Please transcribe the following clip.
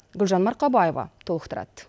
гүлжан марқабаева толықтырады